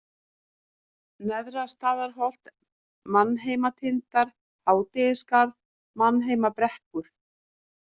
Neðra-Staðarholt, Manheimatindar, Hádegisskarð, Manheimabrekkur